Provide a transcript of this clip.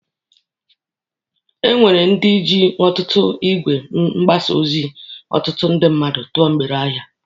E nwere ndi ji ọtutu igwe mgbasa ozi ọtụtụ mmadụ tọọ mgbere ahịa.